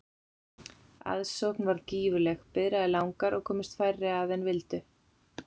Aðsókn varð gífurleg, biðraðir langar og komust færri að en vildu.